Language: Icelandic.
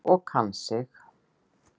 Og kann sig.